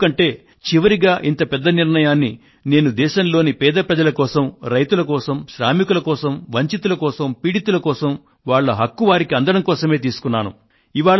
ఎందుకంటే చివరిగా ఇంత పెద్ద నిర్ణయాన్ని నేను దేశంలోని పేద ప్రజల కోసం రైతుల కోసం శ్రామికుల కోసం వంచితుల కోసం పీడితుల కోసం వాళ్ళ హక్కు వారికి అందడం కోసమే తీసుకున్నాను